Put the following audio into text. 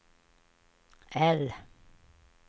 L